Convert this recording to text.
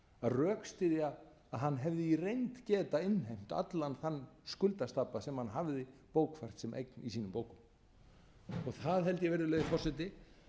rökstyðja að hann hefi í reynd getað innheimt allan þann skuldastabba sem hann hafði bókfært sem eign í sínum bókum það held ég virðulegi forseti